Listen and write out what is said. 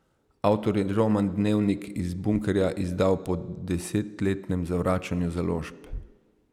Avtor je roman Dnevnik iz bunkerja izdal po desetletnem zavračanju založb.